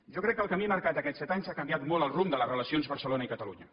jo crec que el camí marcat aquests set anys ha canviat molt el rumb de les relacions barcelona i catalunya